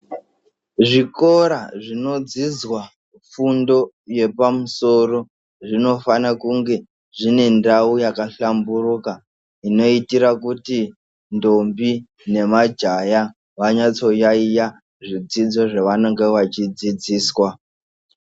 Zvikora zvinodzidza fundo yepamusoro zvinofanira kunge zvine ndau yakahlamburika zvinoitira kuti ndombi nemajaha vanyatso yayiya zvidzidzo zvavanenge vachifundiswa.